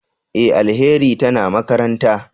E! Alheri tana makaranta.